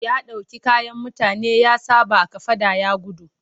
Ya ɗauki kayan mutane ya saɓa a kafaɗa ya gudu.